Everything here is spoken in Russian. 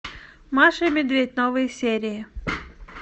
маша и медведь новые серии